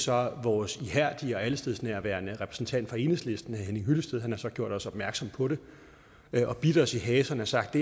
har vores ihærdige og allestedsnærværende repræsentant fra enhedslisten herre henning hyllested gjort os opmærksom på det og bidt os i haserne og sagt